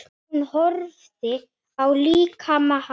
Hún horfði á líkama hans.